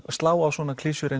slá á svona klisjur